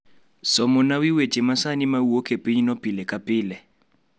somona wi weche masani ma wuok e pinyno pile ka pile